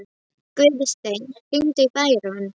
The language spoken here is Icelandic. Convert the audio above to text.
Guðstein, hringdu í Bæron.